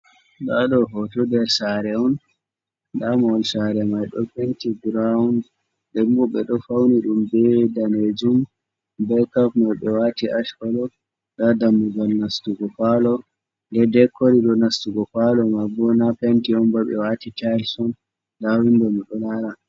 Ɗado hoto nder sare on . Damagal sare mai ɗo penti burawn, dembu ɓeɗo fauni dum be danajum. be kap mai ɓe wati ash kolo. Nda dammugal nastugo palo de de korido nastugo pallo mai bo na penti omba ɓe wati tayis on. Nda windoɗo miɗo lara.